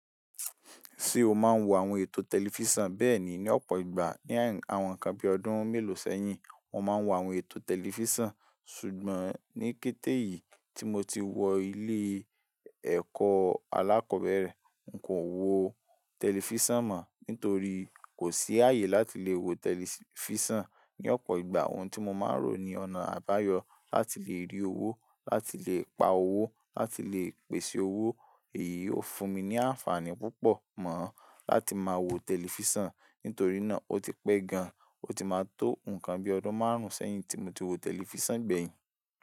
Ṣé o máa ń wo àwọn ètò tẹlifísàn bẹ́ẹ̀ni ní ọ̀pọ̀ ìgbà ní àwọn nǹkan bí i ọdún mélòó sẹ́yìn mo máa ń wo àwọn ètò tẹlifísàn ṣùgbọ́n ní kété yìí tí mo ti wọ ilé ẹ̀kọ́ alákọ̀ọ́bẹ̀rẹ̀, n kò wo tẹlifísàn mọ nítorí kò sí àyè láti lè wo tẹlifísàn. Ní ọ̀pọ̀ ìgbà ohun tí mo máa ń rò ni ọ̀nà àbáyọ láti lè rí owó láti lè pa owó láti lè pèsè owó èyí ọ fún mi ní àǹfààní púpọ̀ mọ láti máa wo tẹlifísàn nítorí náà o ti pẹ́ gan o ti máa tó nǹkan bíi ọdún márùn-ún sẹ́yìn tí mo ti wo tẹlifísàn gbẹ̀yìn.